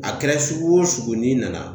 A kɛra sugu o sugu n'i nana